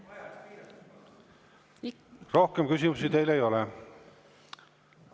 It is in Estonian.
Rohkem küsimusi teile ei ole.